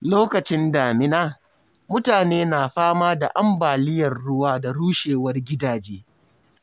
Lokacin damina, mutane na fama da ambaliyar ruwa da rushewar gidaje.